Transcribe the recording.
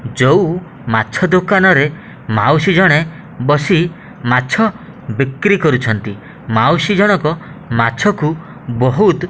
ଜଉ ମାଛ ଦୋକାନରେ ମାଉସିଜଣେ ବସି ମାଛ ବିକ୍ରି କରୁଛନ୍ତି ମାଉସି ଜଣକ ମାଛକୁ ବହୁତ --